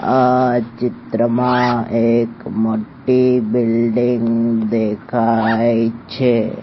આ ચિત્રમાં એક મોટ્ટી બિલ્ડીંગ દેખાય છે.